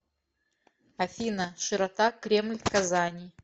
афина широта кремль казани